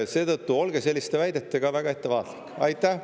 Seetõttu, olge selliste väidetega väga ettevaatlik!